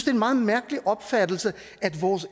er en meget mærkelig opfattelse at vores